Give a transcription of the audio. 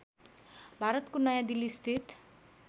भारतको नयाँ दिल्लीस्थित